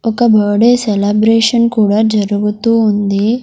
ఒక birthday celebration కూడా జరుగుతూ ఉంది.